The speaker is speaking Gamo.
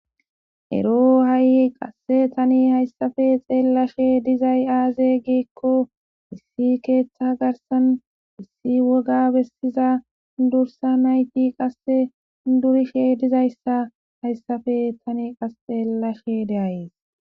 Ero tani hay haysappe xeelashe fe'izay aze giko issi ketha garsan issi woga bessiza durusa nayti qase durishe dizaysa haysape Tani qas xeelashe de'ays